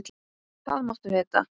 Það máttu vita.